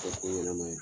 Kɛ ko ɲɛnɛma ye